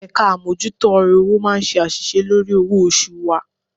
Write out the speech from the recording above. Ẹ̀ka àmójútó ọ̀rọ̀ owó máa ń ṣe àṣìṣe lórí owó oṣù wa